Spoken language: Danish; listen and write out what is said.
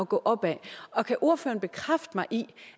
gå opad og kan ordføreren bekræfte